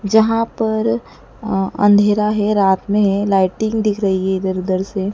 जहां पर अ अंधेरा है रात में है लाइटिंग दिख रही है इधर उधर से।